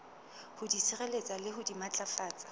ho sireletsa le ho matlafatsa